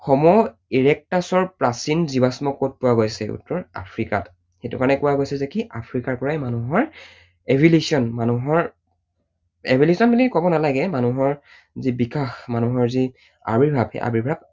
Homo erectus ৰ প্ৰাচীন জীৱাশ্ম কত পোৱা গৈছে? উত্তৰ, আফ্ৰিকাত, সেইটো কাৰণেই কোৱা গৈছে যে কি আফ্ৰিকাৰ পৰাই মানুহৰ evolution মানুহৰ evolution বুলি কব নালাগে, মানুহৰ যি বিকাশ, মানুহৰ যি আবিৰ্ভাৱ সেই আবিৰ্ভাৱ